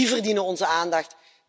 Die verdienen onze aandacht.